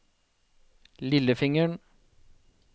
lillefingeren